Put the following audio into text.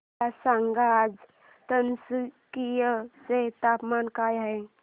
मला सांगा आज तिनसुकिया चे तापमान काय आहे